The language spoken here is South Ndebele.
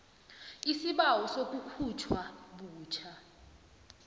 isibawo sokukhutjhwa butjha